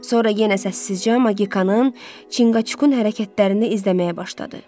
Sonra yenə səssizcə Maqikanın, Çinqaçukun hərəkətlərini izləməyə başladı.